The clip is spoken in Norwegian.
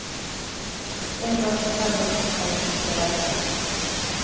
En dag forteller moster at hun skal reise.